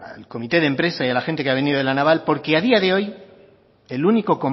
al comité de empresa y a la gente que ha venido de la naval porque a día de hoy